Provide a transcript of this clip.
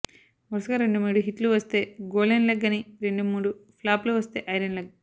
వరుసగా రెండు మూడు హిట్లు వస్తే గోల్డెన్ లెగ్ అని రెండు మూడు ఫ్లాపులు వస్తే ఐరన్ లెగ్